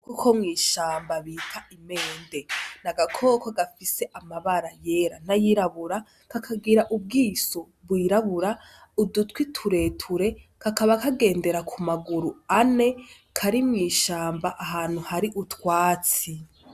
Agakoko ko mw'ishamba bita imende, ni agakoko gafise amabara yera n'ayirabura, kakagira ubwiso bwirabura, udutwi tureture kakaba kagendere ku maguru ane, kari mw'ishamba ahantu hari utwatsi.